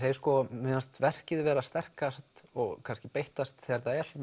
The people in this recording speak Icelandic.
mér fannst verkið vera sterkast og kannski beittast þegar það er svona